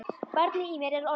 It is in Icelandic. Barnið í mér er ormur.